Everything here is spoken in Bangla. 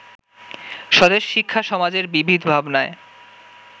স্বদেশ-শিক্ষা-সমাজের বিবিধ ভাবনার